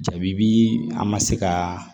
Jaabi bi an ma se ka